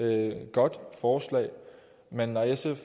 er et godt forslag men når sf